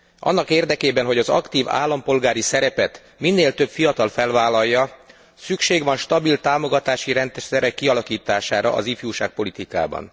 Annak érdekében, hogy az aktív állampolgári szerepet minél több fiatal felvállalja, szükség van stabil támogatási rendszerek kialakítására az ifjúságpolitikában.